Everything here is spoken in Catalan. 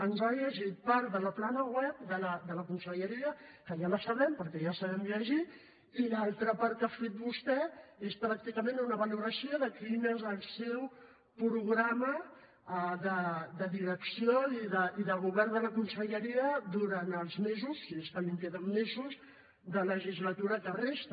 ens ha llegit part de la plana web de la conselleria que ja la sabem perquè ja sabem llegir i l’altra part que ha fet vostè és pràcticament una valoració de quin és el seu programa de direcció i de govern de la conselleria durant els mesos si és que li queden mesos de legislatura que resta